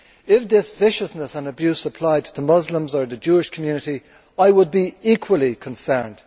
If this viciousness and abuse applied to Muslims or the Jewish community, I would be equally concerned.